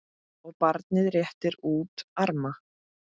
og barnið réttir út arma